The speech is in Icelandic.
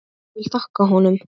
Ég vil þakka honum.